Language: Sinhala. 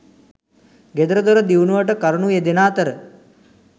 ගෙදරදොර දියුණුවට කරුණු යෙදෙන අතර